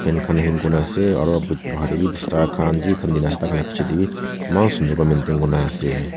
fan khan hang kuri na ase aro but bahar teh bhi bistar khan ji khan dikhi ase ta khan lah picche teh bhi eman sundar maintain kuri na ase.